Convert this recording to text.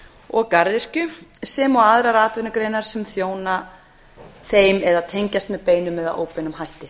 og garðyrkju sem og á aðrar atvinnugreinar sem þjóna þeim eða tengjast með beinum eða óbeinum hætti